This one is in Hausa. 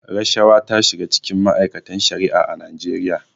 Rashawa ta shiga cikin ma'aikatar Shari'a a Najeriya.